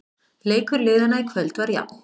Leikur liðanna í kvöld var jafn